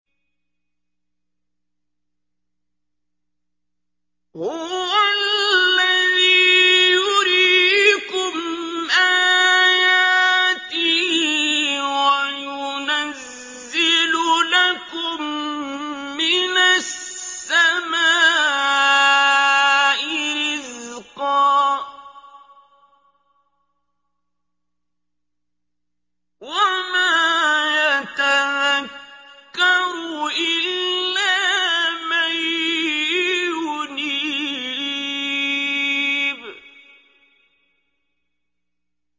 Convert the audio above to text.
هُوَ الَّذِي يُرِيكُمْ آيَاتِهِ وَيُنَزِّلُ لَكُم مِّنَ السَّمَاءِ رِزْقًا ۚ وَمَا يَتَذَكَّرُ إِلَّا مَن يُنِيبُ